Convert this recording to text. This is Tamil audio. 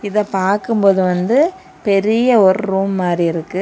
இத பார்க்கும்போது வந்து பெரிய ஒரு ரூம் மாதிரி இருக்கு.